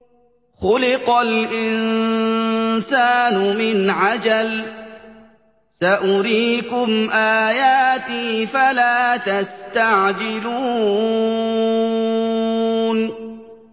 خُلِقَ الْإِنسَانُ مِنْ عَجَلٍ ۚ سَأُرِيكُمْ آيَاتِي فَلَا تَسْتَعْجِلُونِ